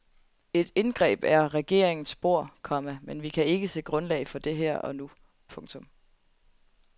Et indgreb er regeringens bord, komma men vi kan ikke se grundlag for det her og nu. punktum